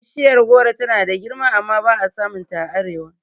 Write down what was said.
Bishiyar goro tana da girma amma ba'a samun ta a arewa